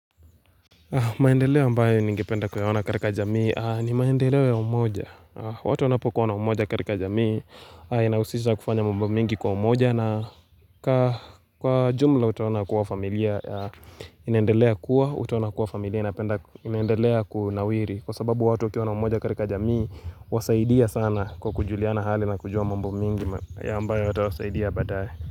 Maendeleo ambayo ningependa kuyaona katika jamii ni maendeleo ya umoja. Watu wanapokuwa na umoja katika jamii inahusisha kufanya mambo mengi kwa umoja na kwa jumla utaona kuwa familia inaendelea kuwa, utaona kuwa familia inapenda inaendelea kunawiri. Kwa sababu watu wakiwa na umoja katika jamii huwasaidia sana kwa kujuliana hali na kujua mambo mingi ya ambayo yatawasaidia baadaye.